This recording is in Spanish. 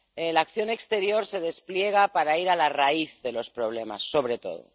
La acción exterior se despliega para ir a la raíz de los problemas, sobre todo.